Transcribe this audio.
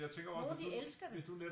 Nogle de elsker det